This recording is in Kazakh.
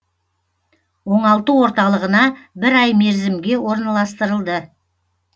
оңалту орталығына бір ай мерзімге орналастырылды